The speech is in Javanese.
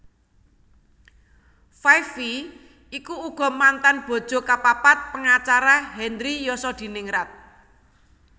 Five Vi iku uga mantan bojo kapapat pangacara Henry Yosodiningrat